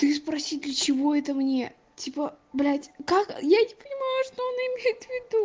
ты спроси для чего это мне типо блять как я не понимаю что она имеет ввиду